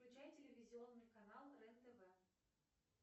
включай телевизионный канал рен тв